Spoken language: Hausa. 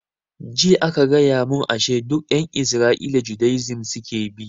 Jiya aka gaya mun ashe duk ƴan isra'ila judaism suke bi